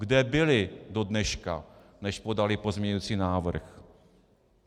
Kde byli do dneška, než podali pozměňující návrh?